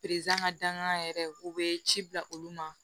ka dangan yɛrɛ u bee ci bila olu ma